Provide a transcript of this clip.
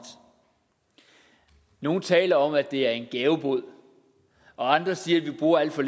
nogle taler om at det er en gavebod og andre siger at vi bruger alt for